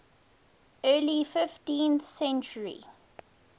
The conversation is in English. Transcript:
early fifteenth century